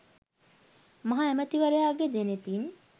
මහ ඇමැතිවරයාගේ දෙනෙතින්